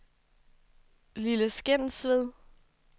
Lille Skensved